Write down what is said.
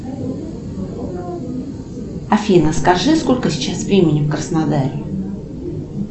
афина скажи сколько сейчас времени в краснодаре